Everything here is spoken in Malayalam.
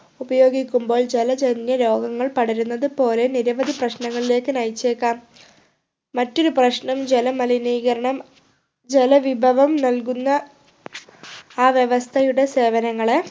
ഉപയോഗിക്കുമ്പോൾ ജലജന്യ രോഗങ്ങൾ പടരുന്നത് പോലെ നിരവധി പ്രശ്നങ്ങളിലേക്ക് നയിച്ചേക്കാം മറ്റൊരു പ്രശ്നം ജലമലിനീകരണം ജലവിഭവം നൽകുന്ന ആ വ്യവസ്ഥയുടെ സേവനങ്ങളെ